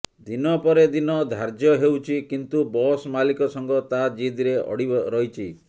ଦିନପରେ ଦିନ ଧାର୍ଯ୍ୟ ହେଉଛି କିନ୍ତୁ ବସ୍ ମାଲିକ ସଂଘ ତା ଜିଦିରେ ଅଡ଼ି ରହିଛି